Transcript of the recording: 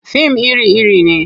Fim iri-iri ne.